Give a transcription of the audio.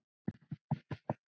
Hann var stór.